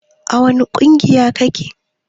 A wani ƙungiya kake?